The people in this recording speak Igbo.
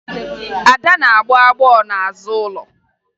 Ada na-agbọ agbọ n'azụ ụlọ